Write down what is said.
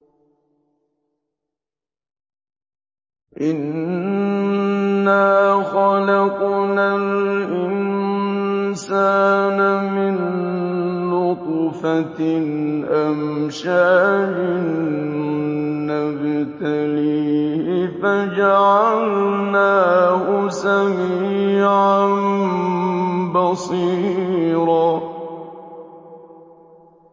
إِنَّا خَلَقْنَا الْإِنسَانَ مِن نُّطْفَةٍ أَمْشَاجٍ نَّبْتَلِيهِ فَجَعَلْنَاهُ سَمِيعًا بَصِيرًا